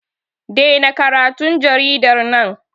Dena karatun jaridar nan!